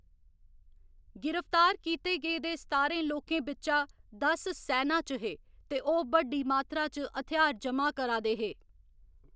गिरफ्तार कीते गेदे सतारें लोकें बिच्चा दस सैना च हे ते ओह्‌‌ बड्डी मातरा च हथ्यार ज'मा करा दे हे।